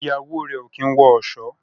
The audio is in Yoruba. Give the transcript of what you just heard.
Ìyàwó rẹ o kín wọ ọṣọ.